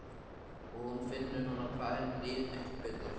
Og hún finnur núna hvað henni líður miklu betur.